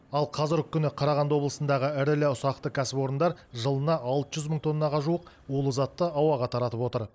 ал қазіргі күні қарағанды облысындағы ірілі ұсақты кәсіпорындар жылына алты жүз мың тоннаға жуық улы затты ауаға таратып отыр